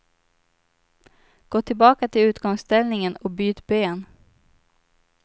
Gå tillbaka till utgångsställningen och byt ben.